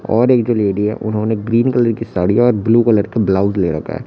और एक जो लेडी है उन्होंने ग्रीन कलर की साड़ियां और ब्लू कलर के ब्लाउज ले रखा है।